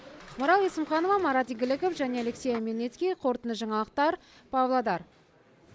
ақмарал есімханова марат игіліков және алексей омельницкий қорытынды жаңалықтар павлодар